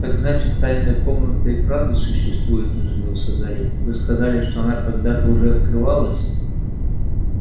так значит тайная комната и правда существует изумился гарри вы сказали что она когда-то уже открывалась